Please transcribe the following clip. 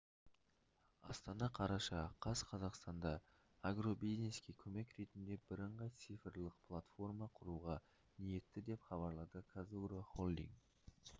астана қараша қаз қазақстанда агробизнеске көмек ретінде бірыңғай цифрлық платформа құруға ниетті деп хабарлады қазагро холдинг